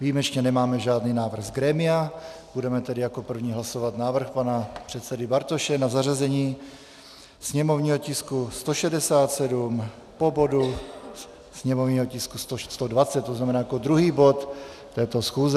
Výjimečně nemáme žádný návrh z grémia, budeme tedy jako první hlasovat návrh pana předsedy Bartoše na zařazení sněmovního tisku 167 po bodu sněmovního tisku 120, to znamená jako druhý bod této schůze.